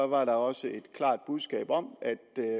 var der også et klart budskab om